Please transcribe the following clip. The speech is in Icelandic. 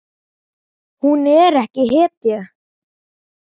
Hún er ekki hetja.